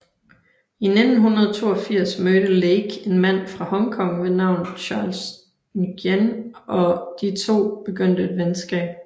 I 1982 mødte Lake en mand fra Hongkong ved navn Charles Ng og de to begyndte et venskab